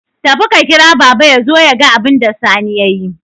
Tafi ka kira baba yazo yaga abunda Sani yayi